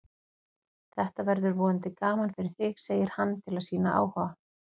Þetta verður vonandi gaman fyrir þig, segir hann til að sýna áhuga.